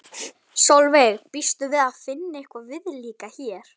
Sólveig: Býstu við að finna eitthvað viðlíka hér?